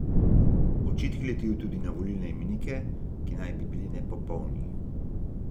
Očitki letijo tudi na volilne imenike, ki naj bi bili nepopolni.